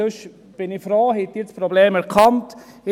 Ansonsten bin ich froh, dass Sie das Problem erkannt haben.